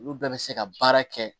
Olu bɛɛ bɛ se ka baara kɛ